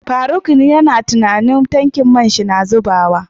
faruk yace yana tunanin tankin man shi na zubawa.